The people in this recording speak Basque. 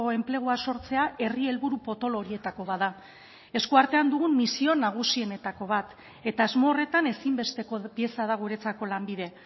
enplegua sortzea herri helburu potolo horietako bat da esku artean dugun misio nagusienetako bat eta asmo horretan ezinbesteko pieza da guretzako lanbide